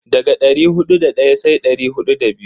Daga dari hudu da daya sai dari hudu da biyu.